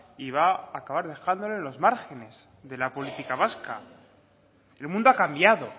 y va a acabar dejándole en los márgenes de la política vasca el mundo ha cambiado